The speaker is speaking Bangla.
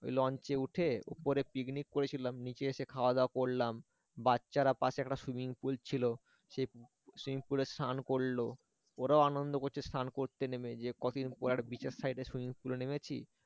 ওই launch এ উঠে উপরে পিকনিক করেছিলাম নিচে এসে খাওয়া দাওয়া করলাম বাচ্চারা পাশে একটা swimming pool ছিল সেই swimming pool এ স্নান করলো ওরাও আনন্দ করছে স্নান করছে নেমে যে কতদিন পরে একটা beach এর সাইডে swimming pool এ নেমেছি